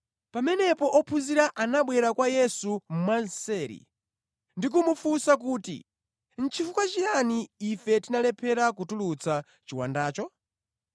Pamenepo ophunzira anabwera kwa Yesu mwamseri ndi kumufunsa kuti, “Chifukwa chiyani ife tinalephera kutulutsa chiwandacho?”